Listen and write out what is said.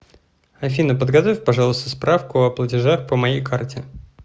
афина подготовь пожалуйста справку о платежах по моей карте